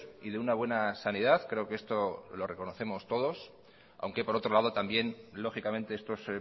y de una buena sanidad creo que esto lo reconocemos todos aunque por otro lado también lógicamente estos